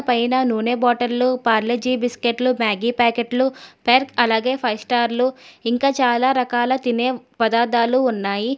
పైన నూనె బాటిల్ లో పార్లే జి బిస్కెట్లు మ్యాగీ ప్యాకెట్లు అలాగే ఫైవ్ స్టార్లు ఇంకా చాలా రకాల తినే పదార్థాలు ఉన్నాయి.